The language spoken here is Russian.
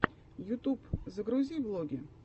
ютуб загрузи влоги